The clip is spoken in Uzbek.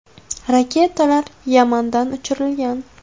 Raketalar Yamandan uchirilgan.